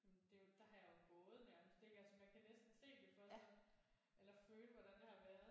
Sådan det er der har jeg jo gået nærmest ik altså man kan næsten se det for sig eller føle hvordan det har været